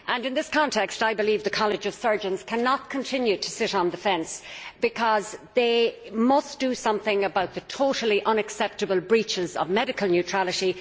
In this context I believe the College of Surgeons cannot continue to sit on the fence because they must do something about the totally unacceptable breaches of medical neutrality.